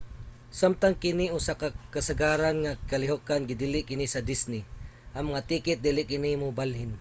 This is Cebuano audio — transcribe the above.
samtang kini usa ka kasagaran nga kalihokan gidili kini sa disney: ang mga tiket dili kini mabalhin